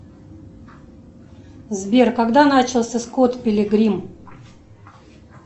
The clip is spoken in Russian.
сбер когда начался скотт пилигрим